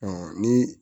ni